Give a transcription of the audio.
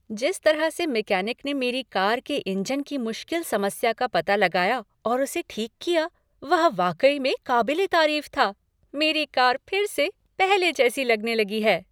जिस तरह से मैकेनिक ने मेरी कार के इंजन की मुश्किल समस्या का पता लगाया और उसे ठीक किया, वह वाकई में क़ाबिले तारीफ़ था, मेरी कार फिर से पहले जैसी लगने लगी है।